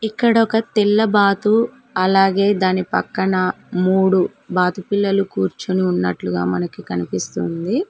ఇక్కడొక తెల్లబాతు అలాగే దాని పక్కన మూడు బాతు పిల్లలు కూర్చుని ఉన్నట్లుగా మనకి కనిపిస్తుంది.